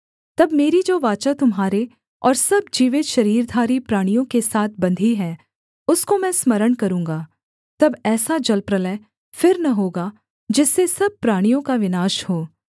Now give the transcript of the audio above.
तब मेरी जो वाचा तुम्हारे और सब जीवित शरीरधारी प्राणियों के साथ बंधी है उसको मैं स्मरण करूँगा तब ऐसा जलप्रलय फिर न होगा जिससे सब प्राणियों का विनाश हो